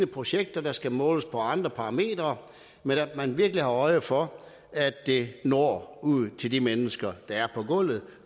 projekter der skal måles på andre parametre men at man virkelig har øje for at det når ud til de mennesker der er på gulvet